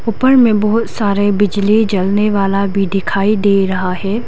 ऊपर में बहुत सारे बिजली जलने वाला भी डिखाई डे रहा है।